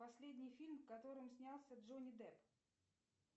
последний фильм в котором снялся джонни депп